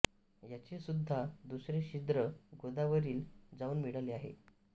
याचे सुद्धा दुसरे छिद्र गोदावरीला जाऊन मिळाले आहे